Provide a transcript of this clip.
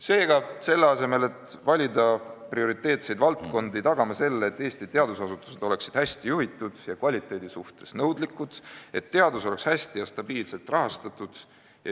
Seega, selle asemel et valida prioriteetseid valdkondi, tagame selle, et Eesti teadusasutused oleksid hästi juhitud ja kvaliteedi suhtes nõudlikud, et teadus oleks hästi ja stabiilselt rahastatud.